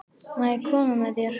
Má ég koma með þér?